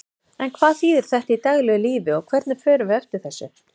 En hvað þýðir þetta í daglegu lífi og hvernig förum við eftir þessu?